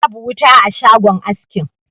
Babu wuta a shagon askin.